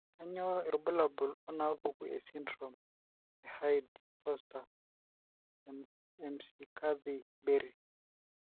Kainyio irbulabul onaapuku esindirom eHyde Forster Mccarthy Berry?